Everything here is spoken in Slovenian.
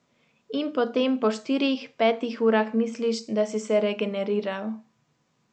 In potem po štirih, petih urah misliš, da si se regeneriral.